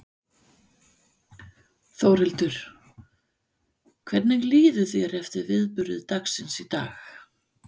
Þórhildur: Hvernig líður þér eftir viðburði dagsins í dag?